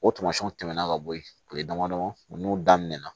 O tamasiyɛnw tɛmɛna ka bɔ yen kile damadɔ ninnu n'u daminɛ na